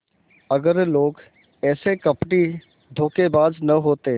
अगर लोग ऐसे कपटीधोखेबाज न होते